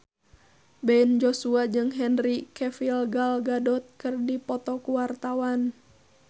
Ben Joshua jeung Henry Cavill Gal Gadot keur dipoto ku wartawan